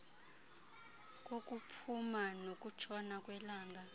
kokuphuma nokutshona kwelanga